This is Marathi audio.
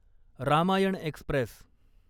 रामायण एक्स्प्रेस